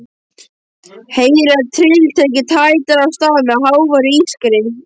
Heyrir að tryllitækið tætir af stað með háværu ískri.